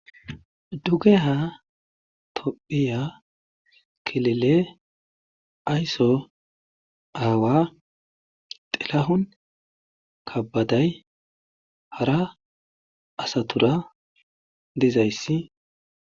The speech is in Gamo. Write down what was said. dugeha tophiya kilile aysso aawa xilahon kabaday hara asatura dizayssi